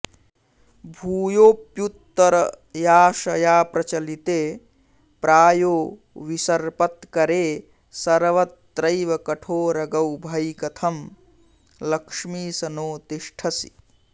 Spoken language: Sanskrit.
भूयोऽप्युत्तरयाशया प्रचलिते प्रायो विसर्पत्करे सर्वत्रैव कठोरगौ भयि कथं लक्ष्मीश नो तिष्ठसि